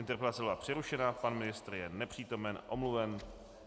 Interpelace byla přerušena, pan ministr je nepřítomen, omluven.